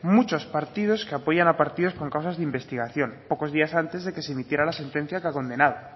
muchos partidos que apoyan a partidos con causas de investigación pocos días antes de que se emitiera la sentencia condenada